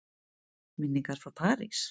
Minningar frá París?